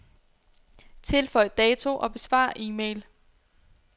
Tilføj dato og besvar e-mail.